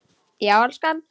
Já, elskan?